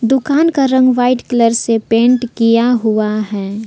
दुकान का रंग व्हाइट कलर से पेंट किया हुआ है।